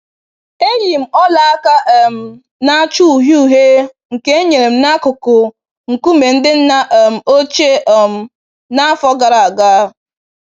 Eyi m ọla aka um na-acha uhie uhie nke e nyere m m n'akụkụ nkume ndị nna um ochie um n'afọ gara aga.